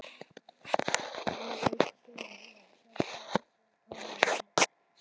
Mér létti stórum við að sjá framan í hana.